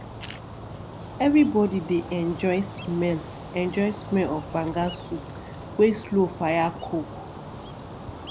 everybody dey enjoy smell enjoy smell of banga soup wey slow fire cook.